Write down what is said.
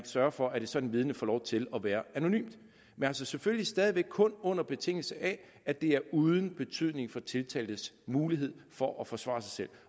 sørger for at et sådant vidne får lov til at være anonymt men altså selvfølgelig stadig væk kun under betingelse af at det er uden betydning for tiltaltes mulighed for at forsvare sig selv